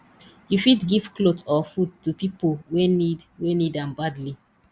you fit give cloth or food to pipo wey need wey need am badly